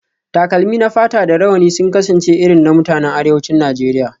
Takalmi na fata da rawani sun kasance irin na mutanen arewacin Najeriya